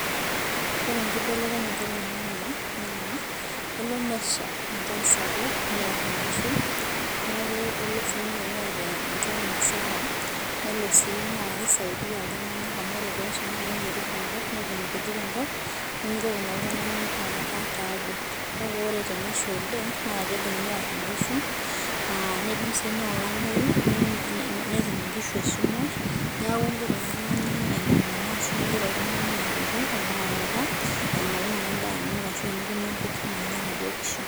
Ore enkibelekenyata oloingange naakeyao enkibelekenyata kelo nesha enchan sapuuk niar inkishu naya sii nesha ake enaitobir inkishu tenebo inkaitubulu, tenelo nitu isha naakelotu olameyu nesapuku esumash oonkishu tenebo inooltunganak